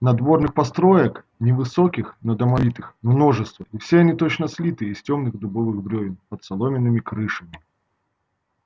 надворных построек невысоких но домовитых множество и все они точно слиты из тёмных дубовых брёвен под соломенными крышами